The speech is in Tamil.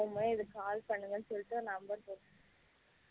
இந்த மாதிரி இதுக்கு call பண்ணுங்கணு சொல்லிட்டு number போடுருந்தது